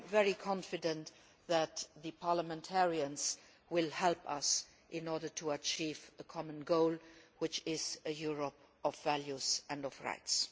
I am very confident that the parliamentarians will help us in order to achieve the common goal, which is a Europe of values and of rights.